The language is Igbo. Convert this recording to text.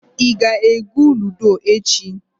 Ị ga-egwu ludo echi.